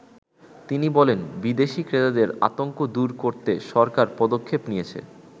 তিনি বলেন, "বিদেশী ক্রেতাদের আতংক দুর করতে সরকার পদক্ষেপ নিয়েছে।